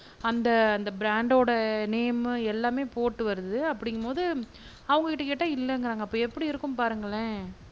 அந்த அந்த ப்ராண்டோட நேமு எல்லாமே போட்டு வருது அப்பிடிங்கும்போது அவங்கக்கிட்ட கேட்டா இல்லங்கிறாங்க அப்ப எப்பிடி இருக்கும் பாருங்களேன்